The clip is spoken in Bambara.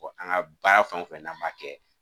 an ka baara fɛn o fɛn n'an m'a kɛ